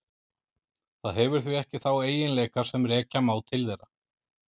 Það hefur því ekki þá eiginleika sem rekja má til þeirra.